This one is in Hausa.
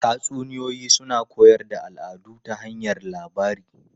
Tatsuniyoyi suna koyar da al'adu ta hanyar labari.